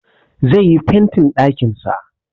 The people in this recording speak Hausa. Zai yi fentin ɗakin sa